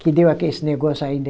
Que deu aquele esse negócio aí de...